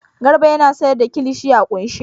Garba yana sayar da kilishi a ƙunshe.